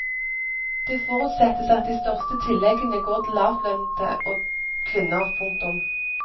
Det forutsettes at de største tilleggene går til lavtlønnede og kvinner. punktum